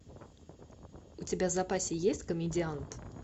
у тебя в запасе есть комедиант